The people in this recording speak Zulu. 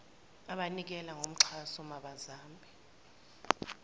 abanikela ngoxhaso mabazame